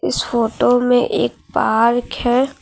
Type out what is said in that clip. इस फोटो में एक पार्क है।